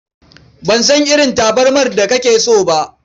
Ban san irin tabarmar da kake so ba.